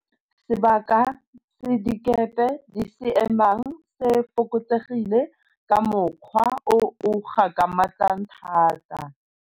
Sebaka se dikepe di se emang se fokotsegile ka mokgwa o o gakgamatsang thata.